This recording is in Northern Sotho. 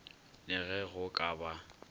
la ge go ka ba